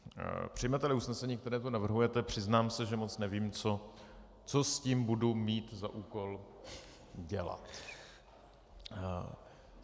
Přijmete-li usnesení, které navrhujete, přiznám se, že moc nevím, co s tím budu mít za úkol dělat.